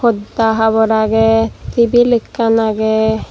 podda habor agey tibil ekkan agey.